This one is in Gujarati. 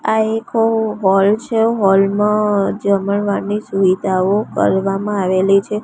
આ એક હૉલ છે હૉલ માં જમણવારની સુવિધાઓ કરવામાં આવેલી છે.